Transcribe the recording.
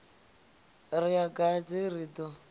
ri a gadze ri ḓo